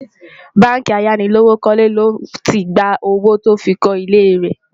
bánkì ayánilówókọ́lé ló tí gbà owó tí ọ fí kò ilé rè